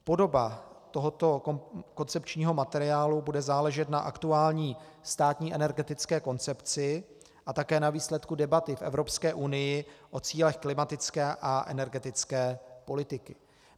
Podoba tohoto koncepčního materiálu bude záležet na aktuální státní energetické koncepci a také na výsledku debaty v Evropské unii o cílech klimatické a energetické politiky.